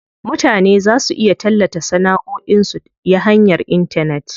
Mutane za su iya tallata sanaʼoin su ya hanyar intanet.